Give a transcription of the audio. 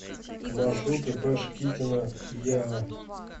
маршрут ип шкитина еа